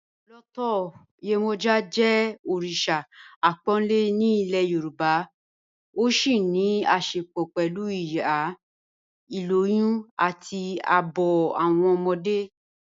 Lọọtọ Yemoja jẹ́ oríṣa àpònlẹ̀ ní ilẹ̀ Yorùbá, ó sì ní àṣẹ̀pọ̀ pẹ̀lú ìyá, ilòyùn, àti ààbọ̀ awọn ọmọdé.